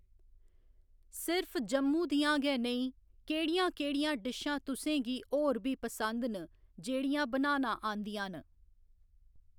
सिर्फ जम्मू दियां गै नेईं, केह्ड़ियां केह्ड़ियां डिशां तुसेंगी होर बी पसंद न जेह्ड़ियां बनाना आंदियां न?